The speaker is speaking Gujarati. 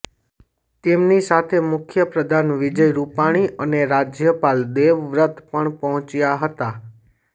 તેમની સાથે મુખ્યપ્રધાન વિજય રૂપાણી અને રાજ્યપાલ દેવવ્રત પણ પહોચ્યા હતા